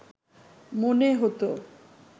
মনে হতো